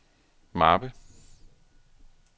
mappe